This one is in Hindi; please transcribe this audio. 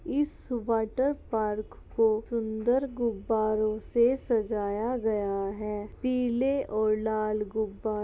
इस वाटर पार्क को सुन्दर गुब्बारों से सजाया गया है । पीले और लाल गुब्बारों --